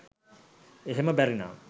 එහෙම බැරිනම්